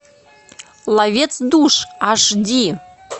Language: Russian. ловец душ аш ди